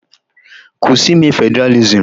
Kwụsị ime Federalism.